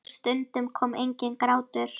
Og stundum kom enginn grátur.